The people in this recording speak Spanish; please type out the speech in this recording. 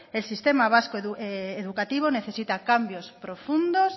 el sistema vasco educativo necesita cambios profundos